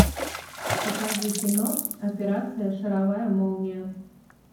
покажи кино операция шаровая молния